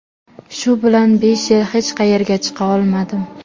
Shu bilan besh yil hech qayerga chiqa olmadim.